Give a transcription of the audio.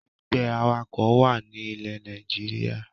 Ẹgbẹ́ awakọ̀ wá ní ilẹ́ Nàìjíríà